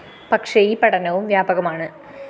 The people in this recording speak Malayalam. പക്ഷേ ഈ പഠനവും വ്യാപകമാണ്